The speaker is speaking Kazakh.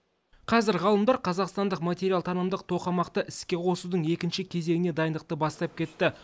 қазір ғалымдар қазақстандық материалтанымдық тоқамақты іске қосудың екінші кезеңіне дайындықты бастап кетті